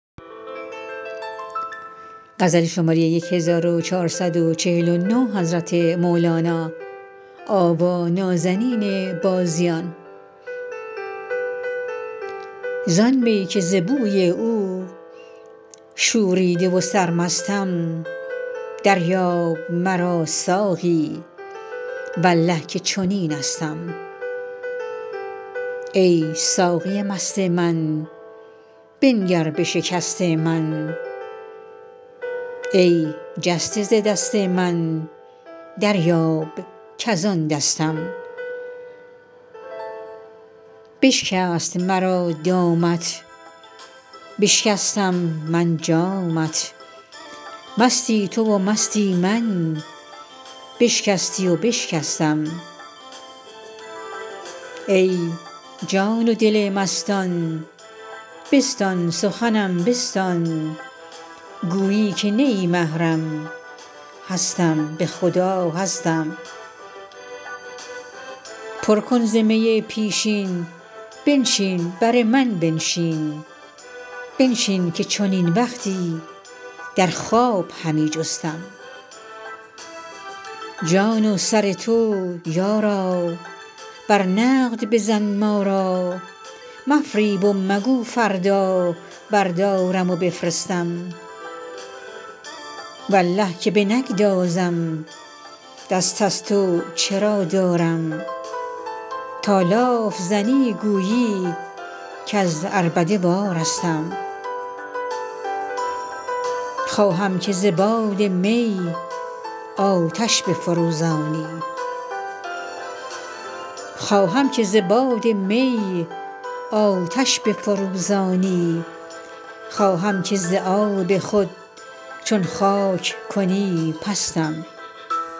زان می که ز بوی او شوریده و سرمستم دریاب مرا ساقی والله که چنینستم ای ساقی مست من بنگر به شکست من ای جسته ز دست من دریاب کز آن دستم بشکست مرا دامت بشکستم من جامت مستی تو و مستی من بشکستی و بشکستم ای جان و دل مستان بستان سخنم بستان گویی که نه ای محرم هستم به خدا هستم پر کن ز می پیشین بنشین بر من بنشین بنشین که چنین وقتی در خواب همی جستم جان و سر تو یارا بر نقد بزن ما را مفریب و مگو فردا بردارم و بفرستم والله که بنگذارم دست از تو چرا دارم تا لاف زنی گویی کز عربده وارستم خواهم که ز باد می آتش بفروزانی خواهم که ز آب خود چون خاک کنی پستم